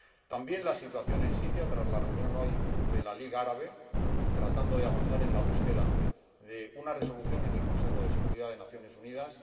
también la situación en Siria, tras la reunión de hoy de la Liga Árabe, tratando de avanzar en la búsqueda de una resolución en el Consejo de Seguridad de las Naciones Unidas